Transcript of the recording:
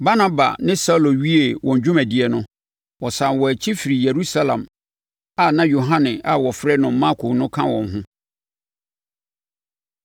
Barnaba ne Saulo wiee wɔn dwumadie no, wɔsane wɔn akyi firii Yerusalem a na Yohane a wɔfrɛ no Marko no ka wɔn ho.